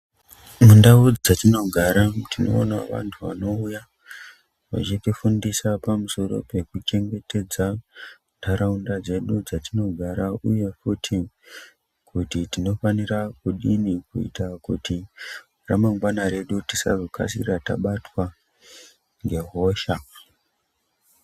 Mundau dzatino gara tino ona vantu vanouya vachiti fundisa pamusoro peku chengetedza ndaraunda dzedu dzatino gara uye futi kuti tino fanira kudini kuita kuti ra mangwana redu tisa kasira tabatwa nge hosha.